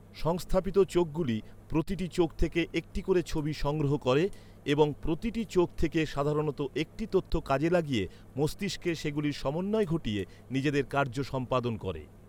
সংস্থাপিত চোখগুলি প্রতিটি চোখ থেকে একটি করে ছবি সংগ্রহ করে এবং প্রতিটি চোখ থেকে সাধারণত একটি তথ্য কাজে লাগিয়ে মস্তিষ্কে সেগুলির সমন্বয় ঘটিয়ে নিজেদের কার্য সম্পাদন করে।